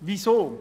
Weshalb dies?